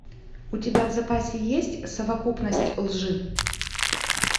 у тебя в запасе есть совокупность лжи